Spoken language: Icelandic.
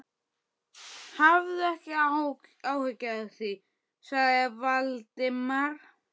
Hafðu ekki áhyggjur af því- svaraði Valdimar.